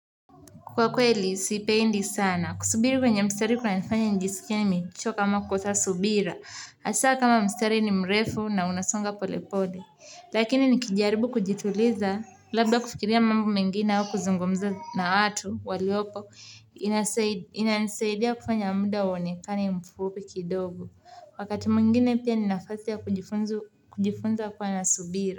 Kwa kweli, siipendi sana. Kusubiri kwenye mstari kunanifanya njisikie nimechoka ama kukosa subira. Hasa kama mstari ni mrefu na unasonga pole pole. Lakini nikijaribu kujituliza labda kufikiria mambo mengine au kuzungumza na watu waliopo inanisaidia kufanya muda uonekane mfupi kidogo. Wakati mwingine pia ni nafasi ya kujifunza kuwa na subira.